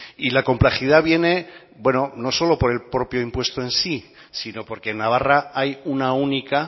y la complejidad viene bueno no solamente por el propio impuesto en sí sino porque en navarra hay una única